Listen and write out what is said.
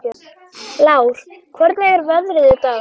Lár, hvernig er veðrið í dag?